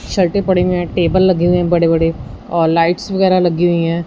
पड़े हुए है टेबल लगे हुए बड़े बड़े और लाइट्स वगैराह लगी हुई है।